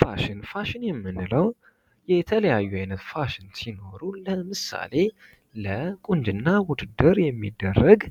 ፋሽን ፋሽን የምንለው የተለያዩ አይነት ፋሽን ሲሆን ለምሳሌ፦ ለቁንጅና ውድድር የሚደረግ